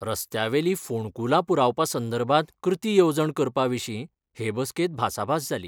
रस्त्यावेली फोणकुलां पुरोवपा संदर्भात कृती येवजण करपा विशी हे बसकेत भासाभास जाली.